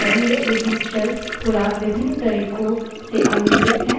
अब लिनक्स में कुछ अधिक महत्वपूर्ण environment variables पर चर्चा करते है